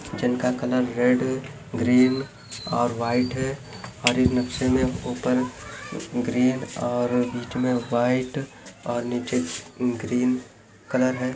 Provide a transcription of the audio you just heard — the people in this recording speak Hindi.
-- जिनका कलर रेड है ग्रीन और व्हाइट है और इस नक्शे मे ऊपर ग्रीन और बीच मे व्हाइट और नीचे ग्रीन कलर है।